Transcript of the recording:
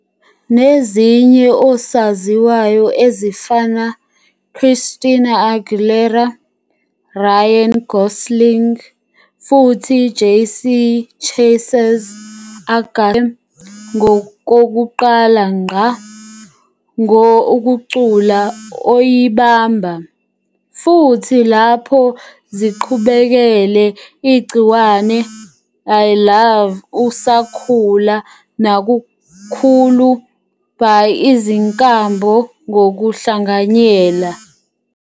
nezinye osaziwayo ezifana Christina Aguilera, Ryan Gosling futhi JC Chasez- agasele ngokokuqala ngqá ngo ukucula oyibamba, futhi lapho ziqhubekele igciwane i love usakhula nakakhulu by izinkambo ngokuhlanganyela.